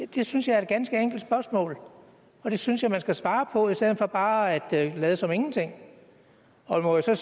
det synes jeg er et ganske enkelt spørgsmål og det synes jeg man skal svare på i stedet for bare at lade som ingenting jeg må så